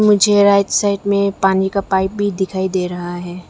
मुझे right side में पानी का पाइप भी दिखाई दे रहा है।